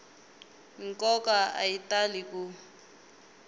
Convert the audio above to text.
nkoka a ya tali ku